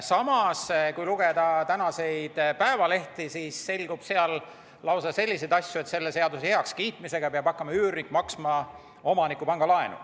Samas, kui lugeda tänaseid päevalehti, siis selgub sealt lausa selliseid asju, et eelnõu heakskiitmise korral peab üürnik hakkama maksma omaniku pangalaenu.